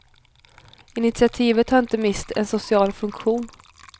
Initiativet har inte minst en social funktion.